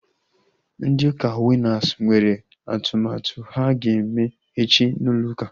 Ndị ụka Winas nwere atụmatụ ha ga-eme echi n'ụlọ ụka